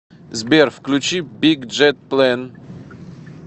сбер включи биг джет плэн